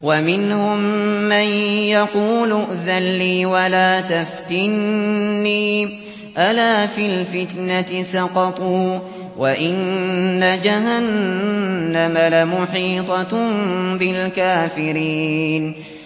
وَمِنْهُم مَّن يَقُولُ ائْذَن لِّي وَلَا تَفْتِنِّي ۚ أَلَا فِي الْفِتْنَةِ سَقَطُوا ۗ وَإِنَّ جَهَنَّمَ لَمُحِيطَةٌ بِالْكَافِرِينَ